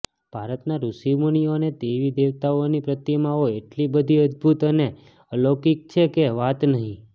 ભારતના ઋષિમુનિઓ અને દેવીદેવતાઓની પ્રતિમાઓ એટલી બધી અદ્દભુત અને અલૌકિક છે કે વાત નહિ